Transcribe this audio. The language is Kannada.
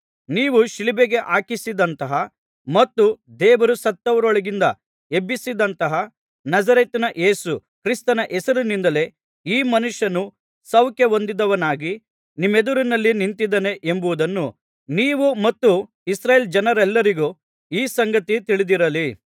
ನೀವು ಶಿಲುಬೆಗೆ ಹಾಕಿಸಿದಂತಹ ಮತ್ತು ದೇವರು ಸತ್ತವರೊಳಗಿಂದ ಎಬ್ಬಿಸಿದಂತಹ ನಜರೇತಿನ ಯೇಸು ಕ್ರಿಸ್ತನ ಹೆಸರಿನಿಂದಲೇ ಈ ಮನುಷ್ಯನು ಸೌಖ್ಯಹೊಂದಿದದವನಾಗಿ ನಿಮ್ಮೆದುರಿನಲ್ಲಿ ನಿಂತಿದ್ದಾನೆ ಎಂಬುದನ್ನು ನೀವು ಮತ್ತು ಇಸ್ರಾಯೇಲ್ ಜನರೆಲ್ಲರಿಗೂ ಈ ಸಂಗತಿ ತಿಳಿದಿರಲಿ